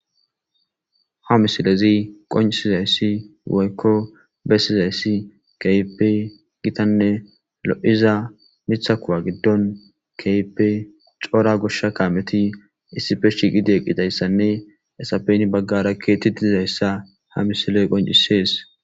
Ha misilezi qoncisizayssi woykko bessizayssi keype gitanne lo7iza mitha kuwa giddon keype coora goshsha kaameti issife shiiqideeqqidayssanne esapeni baggara keetti dizayssa ha misiley qoncisees